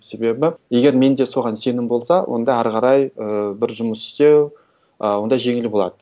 себебі егер менде соған сенім болса онда ары қарай ііі бір жұмыс істеу і онда жеңіл болады